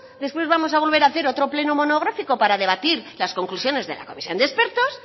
después vamos a volver hacer otro pleno monográfico para debatir las conclusiones de la comisión de expertos